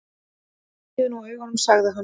Lokiði nú augunum, sagði hann.